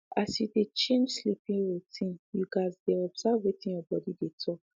as you dey change sleeping routine you gats dey observe wetin you body dey talk